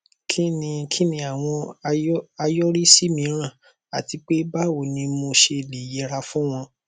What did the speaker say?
kí ni kí ni àwọn àyọrísí mìíràn àti pé báwo ni mo ṣe lè yẹra fún wọn